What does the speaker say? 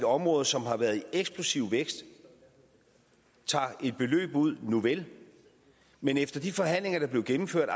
område som har været i eksplosiv vækst tager et beløb ud nuvel men efter de forhandlinger der blev gennemført